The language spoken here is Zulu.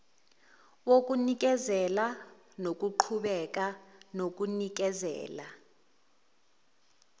wokunikezela nokuqhubeka nokunikezela